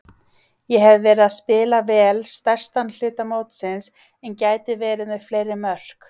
Ég hef verið að spila vel stærstan hluta mótsins en gæti verið með fleiri mörk.